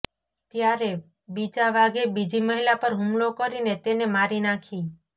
ત્યારે બીજા વાઘે બીજી મહિલા પર હુમલો કરીને તેને મારી નાખી